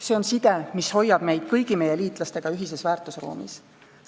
See on side, mis hoiab meid kõigi meie liitlastega ühises väärtusruumis.